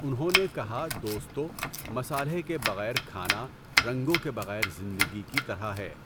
انہوں نے کہا دوستو، مصالحے کے بغیر کھانا رنگوں کے بغیر زندگی کی طرح ہے!